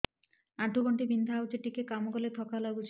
ଆଣ୍ଠୁ ଗଣ୍ଠି ବିନ୍ଧା ହେଉଛି ଟିକେ କାମ କଲେ ଥକ୍କା ଲାଗୁଚି